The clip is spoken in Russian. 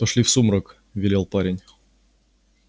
пошли в сумрак велел парень